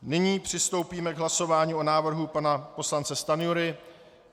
Nyní přistoupíme k hlasování o návrhu pana poslance Stanjury.